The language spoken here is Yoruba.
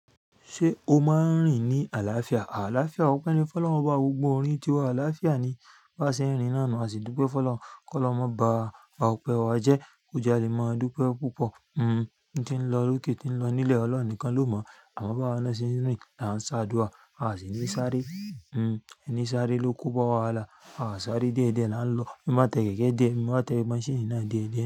Ṣé o máa ń rìn ní àlàáfíà? Àlàáfíà, ọpẹ́ ni. Fọlọ́n bá gbogbo orin tiwa. Àlàáfíà ni. Bí a ṣe ń rìn náà nùu, a sì dúpẹ́ fọ́lọ́n. K'ọlọrun mọ́ ba, ọpẹ́ wa jẹ́. Òòjà lè máa dúpẹ́ púpọ̀. N tí ń lọ, òkè tí ń lọ. Ní ilẹ̀ Ọlọ́run nìkan ló mọ̀. Àmo b'awa naa ṣe ń rìn, à n s'àdúà, a sì ní sáré. Ní sáré ló kó bá wa wàhálà. Aa sáré diẹdiẹ là ń lọ. Mo máa tẹlẹ jẹ́jẹ́. Mo máa tẹ maṣíìnì náà déèdéé.